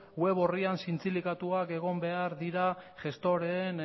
web orrian zintzilikatuak egon behar dira gestoreen